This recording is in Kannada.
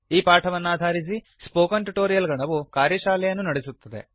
ಈ ಪಾಠವನ್ನಾಧಾರಿಸಿ ಸ್ಪೋಕನ್ ಟ್ಯುಟೋರಿಯಲ್ ಗಣವು ಕಾರ್ಯಶಾಲೆಯನ್ನು ನಡೆಸುತ್ತದೆ